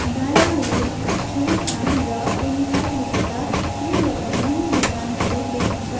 डाइनारूफ छोमसाड र ओमकार लेखेका तीनवटा विभिन्न दोकानहरू देखिन्छ।